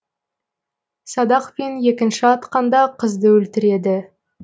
садақпен екінші атқанда қызды өлтіреді